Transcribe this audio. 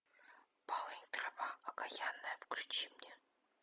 полынь трава окаянная включи мне